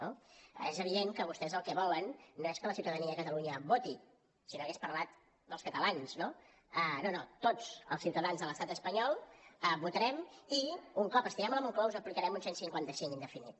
no és evident que vostès el que volen no és que la ciutadania de catalunya voti si no hagués parlat dels catalans no no no tots els ciutadans de l’estat espanyol votarem i un cop estiguem a la moncloa us aplicarem un cent i cinquanta cinc indefinit